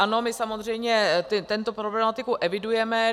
Ano, my samozřejmě tuto problematiku evidujeme.